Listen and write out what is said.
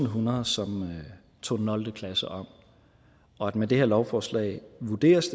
hundrede som tog nul klasse om og med det her lovforslag vurderes